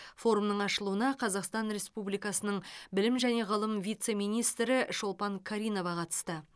форумның ашылуына қазақстан республикасының білім және ғылым вице министрі шолпан каринова қатысты